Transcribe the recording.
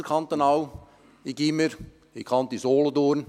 Ich besuchte das Gymnasium ausserkantonal, nämlich die «Kanti» Solothurn.